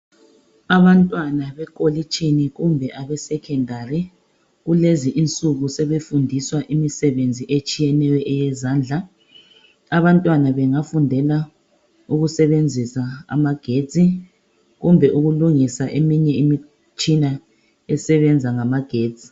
Abantwana bekolitshini kumbe abe secondary kulezinsuku sebefundiswa imisebenzi etshiyeneyo eyezandla abantwana bengafundela ukusebenzisa amagetsi kumbe ukulungisa eminye imitshina esebenza ngamagetsi .